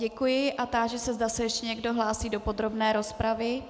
Děkuji a táži se, zda se ještě někdo hlásí do podrobné rozpravy.